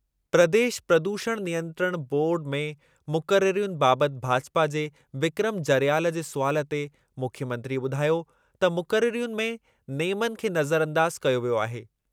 प्रदेश प्रदूषण नियंत्रण बोर्डु में मुक़ररियुनि बाबति भाजपा जे विक्रम जरयाल जे सुवालु ते मुख्यमंत्रीअ ॿुधायो त मुक़ररियुनि में नेमनि खे नज़रअंदाज कयो वियो आहे।